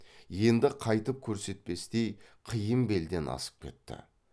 енді қайтып көрсетпестей қиын белден асып кетті